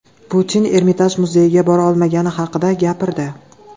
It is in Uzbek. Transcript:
Putin Ermitaj muzeyiga bora olmagani haqida gapirdi.